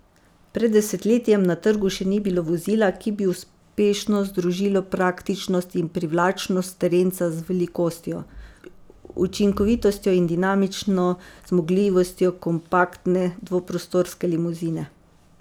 Pred desetletjem na trgu še ni bilo vozila, ki bi uspešno združilo praktičnost in privlačnost terenca z velikostjo, učinkovitostjo in dinamično zmogljivostjo kompaktne dvoprostorske limuzine.